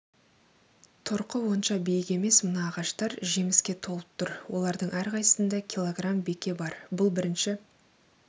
тұрқы онша биік емес мына ағаштар жеміске толып тұр олардың әрқайсысында килограмм беке бар бұл бірінші